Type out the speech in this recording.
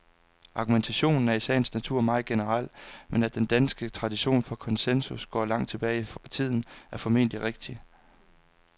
Argumentationen er i sagens natur meget generel, men at den danske tradition for konsensus går langt tilbage i tiden, er formentlig rigtigt.